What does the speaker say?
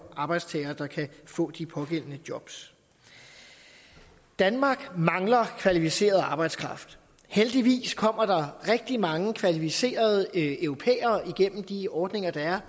arbejdstagerne kan få de pågældende job danmark mangler kvalificeret arbejdskraft heldigvis kommer der rigtig mange kvalificerede europæere igennem de ordninger der er